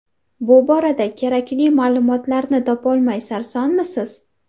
Bu borada kerakli ma’lumotlarni topolmay sarsonmisiz?